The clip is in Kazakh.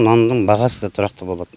нанның бағасы да тұрақты болады